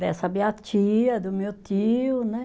Dessa minha tia, do meu tio, né?